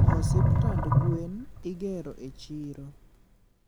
Hosiptand gwen igero e chiro